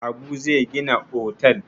Habu zai gina otel.